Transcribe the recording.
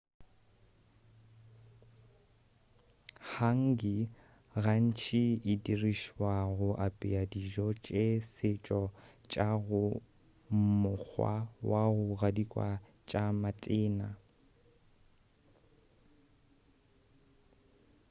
hangi gantši e dirišwa go apea dijo tša setšo tša go mokgwa wa go gadikwa tša matena